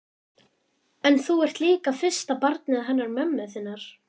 En þú ert líka fyrsta barnið hennar mömmu þinnar.